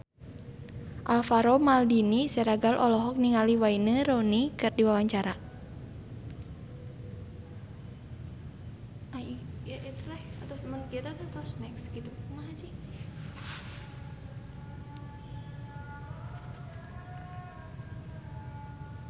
Alvaro Maldini Siregar olohok ningali Wayne Rooney keur diwawancara